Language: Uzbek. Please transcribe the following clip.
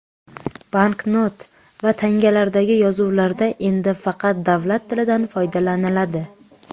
Banknot va tangalardagi yozuvlarda endi faqat davlat tilidan foydalaniladi.